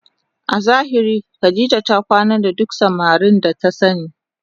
A zahiri Khadijah ta kwana da duk samarin da ta sani